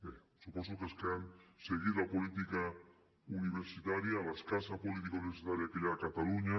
bé suposo que els que han seguit la política universitària l’escassa política universitària que hi ha a catalunya